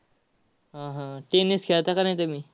हा, हा. tennis खेळता का नाय तुम्ही?